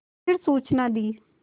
फिर सूचना दी